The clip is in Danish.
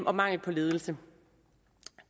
og mangel på ledelse